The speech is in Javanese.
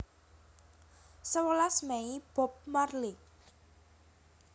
Sewelas Mei Bob Marley